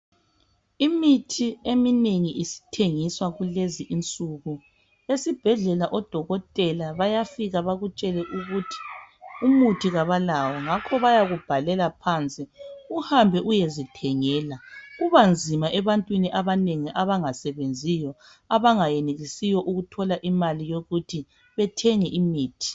Imithi eminengi isithengiswa kulezi insuku . Esibhedlela odokotela bayafika bakutshele ukuthi umuthi kabalawo ngakho bayakubhalela phansi uhambe uyezithengela kubanzima ebantwini abanengi abangasebenziyo abangayenelisiyo ukuthola imali yokuthi bethenge imithi .